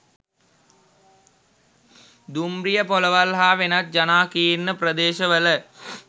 දුම්රියපොළවල් හා වෙනත් ජනාකීර්ණ ප්‍රදේශවල